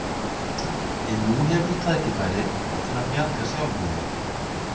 En nú hefur þú tækifæri til að bjarga sjálfum þér.